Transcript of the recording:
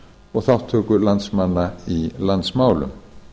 og þátttöku landsmanna í landsmálum